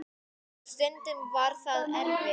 Og stundum var það erfitt.